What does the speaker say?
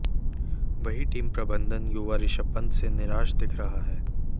वहीं टीम प्रबंधन युवा ऋषभ पंत से निराश दिख रहा है